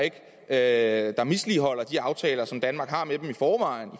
er lande der misligholder de aftaler som danmark har med dem i forvejen